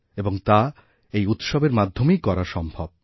এবং তা এই উৎসবেরমাধ্যমেই করা সম্ভব